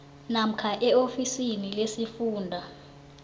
namkha eofisini lesifunda